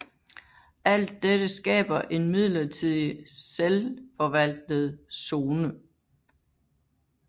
Alt dette skaber en midlertidig selvfovaltet zone